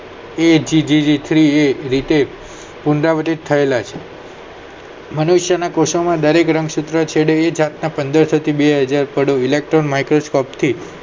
ATGGA પુનરાવર્તિત થયેલા છે મનુષ્યના કોશોમાં દરેક રંગસૂત્ર છેડે આ જાતના પંદરસોથી બે હજાર પાડો electrione microscope થી